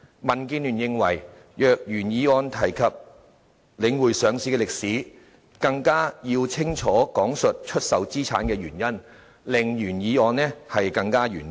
民建聯認為若原議案提及領匯上市的歷史，更要清楚講述出售資產的原因，令內容更完整。